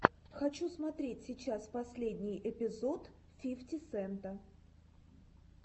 хочу смотреть сейчас последний эпизод фифти сента